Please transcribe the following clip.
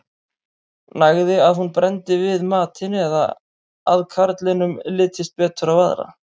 nægði að hún brenndi við matinn eða að karlinum litist betur á aðra